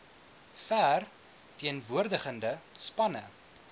ver teenwoordigende spanne